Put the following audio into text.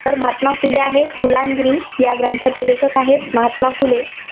तर महात्मा जोतिबा फुले आहेत, गुलामगिरी या ग्रंथाचे लेखक आहेत महात्मा फुले.